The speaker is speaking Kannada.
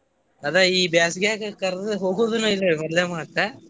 ಅದ ಈ ಬ್ಯಾಸಗ್ಯಾಗ ಕರ್ದದ್ದ ಹೋಗುದುನು ಇಲ್ರಿ ಅದ್ ಮದ್ಲನೇ ಮಾತಾ .